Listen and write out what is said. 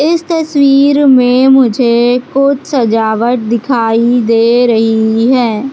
इस तस्वीर में मुझे कुछ सजावट दिखाई दे रही हैं।